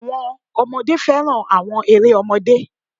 Àwọn ọmọdé fẹ́ràn àwọn eré ọmọdé.